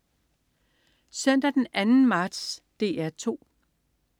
Søndag den 2. marts - DR 2: